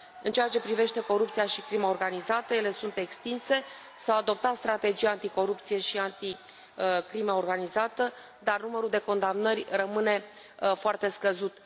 În ceea ce privește corupția și crima organizată, ele sunt extinse, s au adoptat strategii anticorupție și anti crimă organizată, dar numărul de condamnări rămâne foarte scăzut.